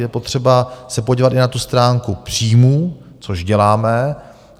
Je potřeba se podívat i na tu stránku příjmů, což děláme.